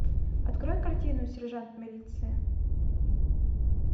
открой картину сержант милиции